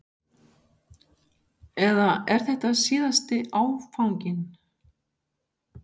Eða er þetta síðasti áfanginn?